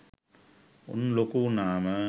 උන් ලොකු වුනාම